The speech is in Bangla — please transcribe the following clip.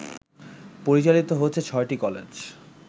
পরিচালিত হচ্ছে ৬টি কলেজ